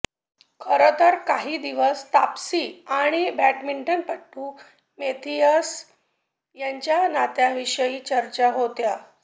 खरं तर काही दिवस तापसी आणि बॅडमिंटनपट्टू मेथियस यांच्या नात्याविषयी चर्चा होत्या